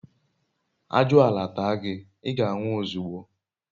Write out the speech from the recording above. ajuala taa gi, iga nwu ozugbo